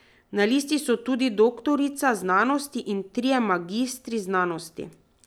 Na listi so tudi doktorica znanosti in trije magistri znanosti.